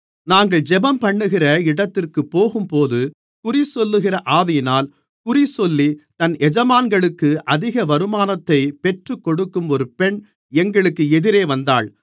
நாங்கள் ஜெபம்பண்ணுகிற இடத்திற்குப் போகும்போது குறிசொல்லுகிற ஆவியினால் குறிசொல்லி தன் எஜமான்களுக்கு அதிக வருமானத்தை பெற்றுக்கொடுக்கும் ஒரு பெண் எங்களுக்கு எதிரே வந்தாள்